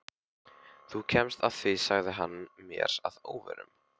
Þú kemst að því sagði hann mér að óvörum.